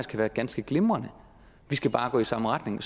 kan være ganske glimrende vi skal bare gå i samme retning